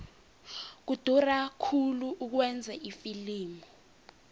kudura khulu ukwenza ifilimu